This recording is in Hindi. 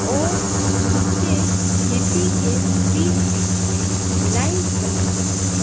और नीचे खेती के बीच बीच में लाइंस बनी हुई हैं।